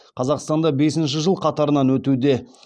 қазақстанда бесінші жыл қатарынан өтуде